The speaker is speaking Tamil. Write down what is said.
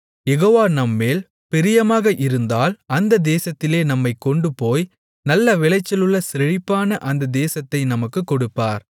யெகோவா நம்மேல் பிரியமாக இருந்தால் அந்தத் தேசத்திலே நம்மைக் கொண்டுபோய் நல்ல விளைச்சல் உள்ள செழிப்பான அந்தத் தேசத்தை நமக்குக் கொடுப்பார்